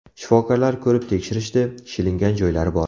Shifokorlar ko‘rib tekshirishdi, shilingan joylari bor.